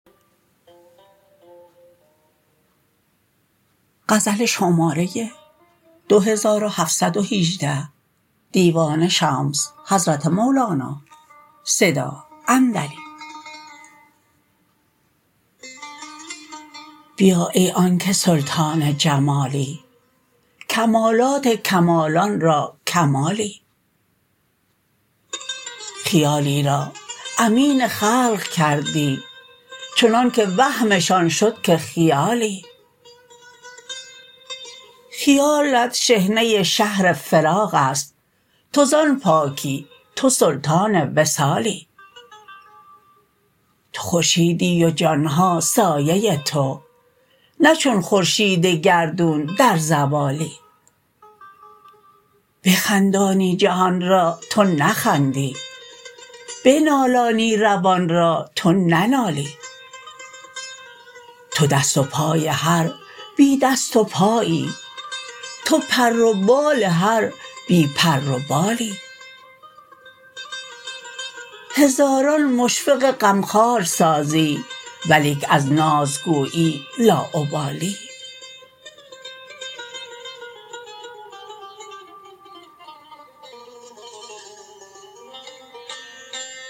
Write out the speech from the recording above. بیا ای آنک سلطان جمالی کمالات کمالان را کمالی خیالی را امین خلق کردی چنانک وهمشان شد که خیالی خیالت شحنه شهر فراق است تو زان پاکی تو سلطان وصالی تو خورشیدی و جان ها سایه تو نه چون خورشید گردون در زوالی بخندانی جهان را تو نخندی بنالانی روان را تو ننالی تو دست و پای هر بی دست و پایی تو پر و بال هر بی پر و بالی هزاران مشفق غمخوار سازی ولیک از ناز گویی لاابالی